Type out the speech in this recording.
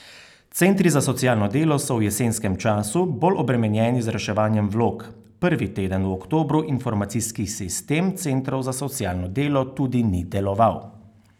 Centri za socialno delo so v jesenskem času bolj obremenjeni z reševanjem vlog, prvi teden v oktobru informacijski sistem centrov za socialno delo tudi ni deloval.